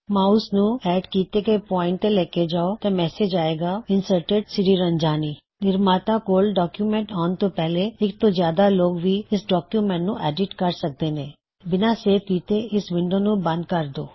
mouse ਨੂੰ add ਕੀੱਤੇ ਹੋਏ ਪੌਇਨਟ ਤੇ ਲੈ ਜਾੳਣ ਤੇ ਮੈਸੇਜ ਆਏਗਾ ਇੰਸਰਟਿਡਸ਼੍ਰੀਰੰਜਾਨੀ insertedਸ੍ਰੀਰੰਜਨੀ ਨਿਰਮਾਤਾ ਕੋਲ ਡੌਕਯੁਮੈੱਨਟ ਆਉਣ ਤੋ ਪਹਿਲੇ ਇਕ ਤੋਂ ਜ਼ਿਆਦਾ ਲੋਗ ਵੀ ਇਸ ਡੌਕਯੁਮੈੱਨਟ ਨੂੰ ਐੱਡਿਟ ਕਰ ਸਕਦੇ ਨੇ ਬਿਨਾ ਸੇਵ ਕਿੱਤੇ ਇਸ ਵਿੰਡੋ ਨੂੰ ਬੰਦ ਕਰ ਦੋ